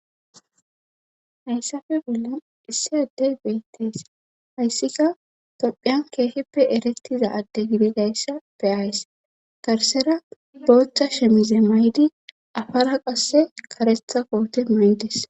Hayssafe bollan issi addey beettees hayssika tophiyan keehippe erettiza adde gibidayssa be ayss garsera booththa shemize maydi afara qasse karetha koote maydes.